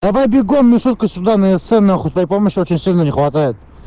давай бегом мишутка сюда на эссе нахуй твоей помощи очень сильно не хватает